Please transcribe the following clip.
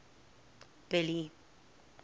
billy